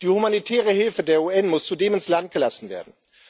Die humanitäre Hilfe der UN muss zudem ins Land gelassen werden.